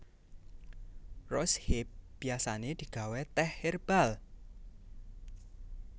Rose hip biasané digawé tèh hèrbal